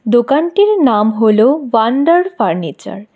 দোকানটির নাম হল ওয়ান্ডার ফার্নিচার ।